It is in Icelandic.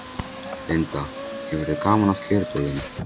Linda: Hefurðu gaman af kjördögum?